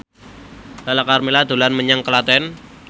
Lala Karmela dolan menyang Klaten